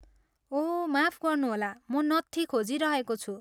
ओह, माफ गर्नुहोला, म नत्थी खोजिरहेको छु।